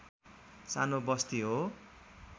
सानो बस्ती हो